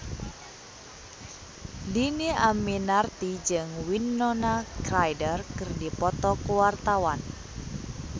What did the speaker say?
Dhini Aminarti jeung Winona Ryder keur dipoto ku wartawan